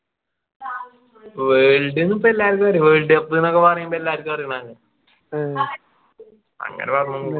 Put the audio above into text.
world ന്നു പ്പോ എല്ലാർക്കും അറിയാം world cup ന്നൊക്കെ പറയുമ്പോ എല്ലാർക്കും അറിയുന്നതല്ലേ അങ്ങനെ പറഞ്ഞു ന്നേയുള്ളു